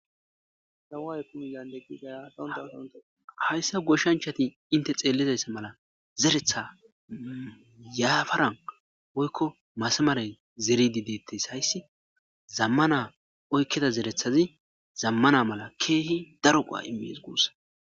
Dawaaye kunyandegida yafondawutonta hayssa goshshanchati inte xeellizayssa mala zeretha yaafaran woykko masamaray zeridi deettes hayssi zammana oykkeda zerethazi zammana mala keehi daroqaa immis guussa.